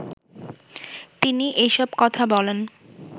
তিনি এসব কথা বলেন